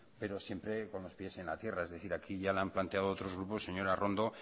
pero siempre con los pies en la tierra es decir aquí ya le han planteado otros grupos señora arrondo